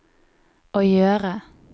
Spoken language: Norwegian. å gjøre